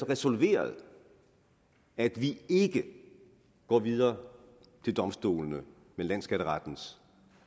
resolveret at vi ikke går videre til domstolene med landsskatterettens